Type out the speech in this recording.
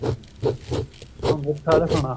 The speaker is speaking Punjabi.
ਅਗੁੱਠਾ ਦਿਖਾਉਣਾ